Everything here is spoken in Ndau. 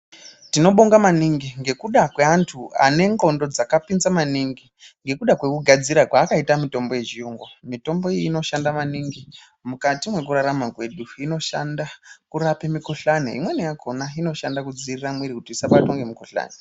Tinoda kutenda maningi ngekuda kweantu ane ndxondo dzakapinza maningi ngekuda kwekugadzira kwevakaita mitombo yechiyungu. Mitombo iyi inoshanda maningi mukati mwekurarama kwedu. Inoshanda kurape mikhuhlani imwenini yakhona inodzivirire muviri kuti usabatwa ngemikhuhlani.